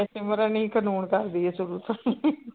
ਸਿਮਰਨ ਹੀ ਕਰਦੀ ਹੈ ਸਗੋਂ